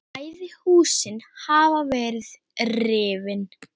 Bæði húsin hafa verið rifin.